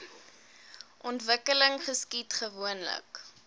ontwikkeling geskied gewoonlik